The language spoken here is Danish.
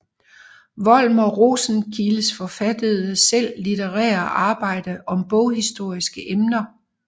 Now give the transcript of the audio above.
Volmer Rosenkildes forfattede selv litterære arbejder om boghistoriske emner